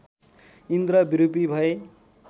इन्द्र विरूपी भए